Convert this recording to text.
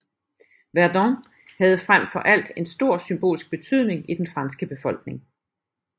Verdun havde frem for alt en stor symbolsk betydning i den franske befolkning